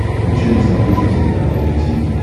включай на смотрешке телеканал ру ти ви